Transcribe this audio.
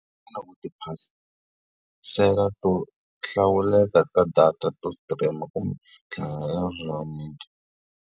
to hlawuleka ta data to stream-a kumbe .